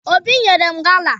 Obi nyere m gala